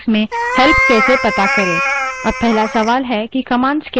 अब पहला सवाल है कि commands क्या हैं